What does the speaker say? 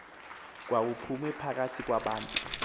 khawuphume phakathi kwabantu